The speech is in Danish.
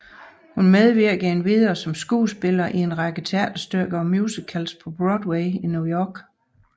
Hun medvirkede endvidere som skuespiller i en række teaterstykker og musicals på Broadway i New York